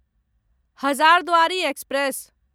Hazarduari express